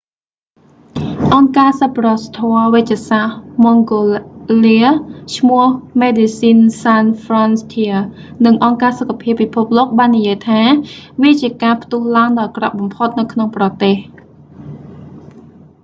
អង្គការសប្បុរសធម៌វេជ្ជសាស្ត្រម៉ង់ហ្កូឡា mangola ឈ្មោះ មេដេស៊ីនស៍ សានស៍ ហ្វ្រន់ធៀស៍ medecines sans frontieres និងអង្គការសុខភាពពិភពលោកបាននិយាយថាវាជាការផ្ទុះឡើងដ៏អាក្រក់បំផុតនៅក្នុងប្រទេស